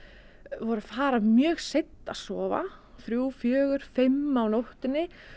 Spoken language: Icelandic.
voru að fara mjög seint að sofa þrjú fjögur fimm á nóttunni